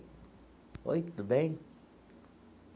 Oi, tudo bem?